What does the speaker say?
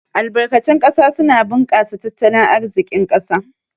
Albarkatun ƙasa suna bunkasa tattalin arzikin ƙasa